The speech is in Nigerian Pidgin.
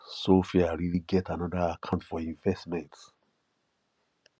sophia really get another account for investment